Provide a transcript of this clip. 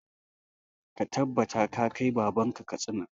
Ka tabbata ka kai baban ka Katsina!